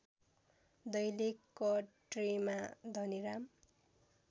दैलेख कट्रीमा धनिराम